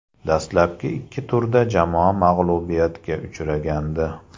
Dastlabki ikki turda jamoa mag‘lubiyatga uchragandi.